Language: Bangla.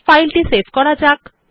ফাইলটি সেভ করা যাক